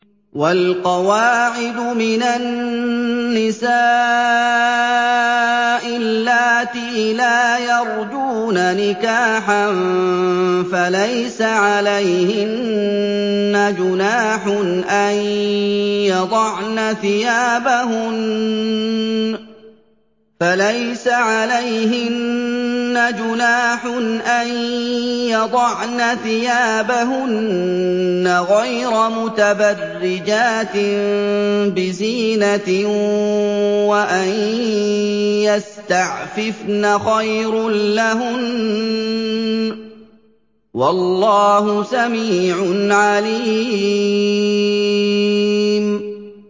وَالْقَوَاعِدُ مِنَ النِّسَاءِ اللَّاتِي لَا يَرْجُونَ نِكَاحًا فَلَيْسَ عَلَيْهِنَّ جُنَاحٌ أَن يَضَعْنَ ثِيَابَهُنَّ غَيْرَ مُتَبَرِّجَاتٍ بِزِينَةٍ ۖ وَأَن يَسْتَعْفِفْنَ خَيْرٌ لَّهُنَّ ۗ وَاللَّهُ سَمِيعٌ عَلِيمٌ